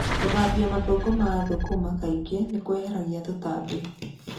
Gũthambia mathangũ ma thũkũma kaingĩ nĩ kũeheragia tũtambi.